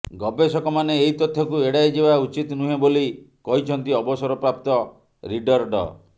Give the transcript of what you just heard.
ଗବେଷକମାନେ ଏହି ତଥ୍ୟକୁ ଏଡ଼ାଇ ଯିବା ଉଚିତ୍ ନୁହେଁ ବୋଲି କହିଛନ୍ତି ଅବସରପ୍ରାପ୍ତ ରିଡର୍ ଡ